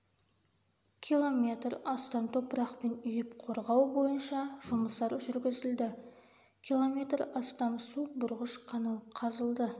километр астам топырақпен үйіп қорғау бойынша жұмыстар жүргізілді км астам су бұрғыш канал қазылды